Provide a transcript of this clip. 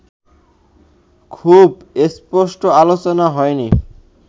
খুব স্পষ্ট আলোচনা হয় নি